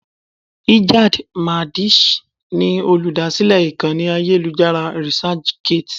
Ijad Madisch ni olúdásílè ìkànnì ayélujára Researchgate.